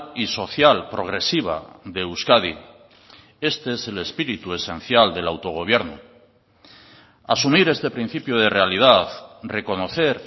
y social progresiva de euskadi este es el espíritu esencial del autogobierno asumir este principio de realidad reconocer